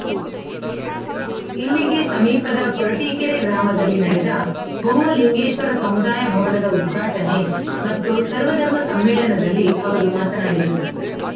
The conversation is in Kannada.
ಇಲ್ಲಿಗೆ ಸಮೀಪದ ಕೊರಟೀಕೆರೆ ಗ್ರಾಮದಲ್ಲಿ ನಡೆದ ಬೊಮ್ಮಲಿಂಗೇಶ್ವರ ಸಮುದಾಯ ಭವನದ ಉದ್ಘಾಟನೆ ಮತ್ತು ಸರ್ವಧರ್ಮ ಸಮ್ಮೇಳನದಲ್ಲಿ ಅವರು ಮಾತನಾಡಿದರು